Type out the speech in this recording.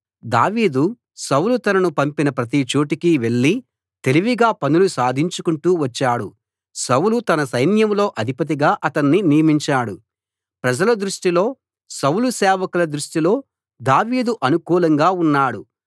దావీదు సౌలు తనను పంపిన ప్రతి చోటుకీ వెళ్ళి తెలివిగా పనులు సాధించుకుంటూ వచ్చాడు సౌలు తన సైన్యంలో అధిపతిగా అతణ్ణి నియమించాడు ప్రజల దృష్టిలో సౌలు సేవకుల దృష్టిలో దావీదు అనుకూలంగా ఉన్నాడు